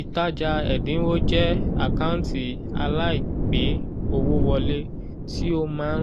ìtajà ẹ̀dínwó jẹ àkántì alaigbe owó wọle tí ó má ń